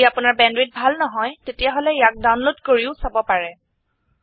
যদি আপোনাৰ বেণ্ডৱিডথ ভাল নহয় তেতিয়াহলে ইয়াক ডাউনলোড কৰিও চাব পাৰে